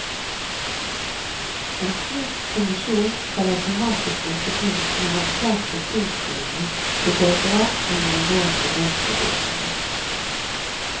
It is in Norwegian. En slik kommisjon skal automatisk rykke inn når erklærte sinnslidende begår drap eller alvorlige voldsforbrytelser.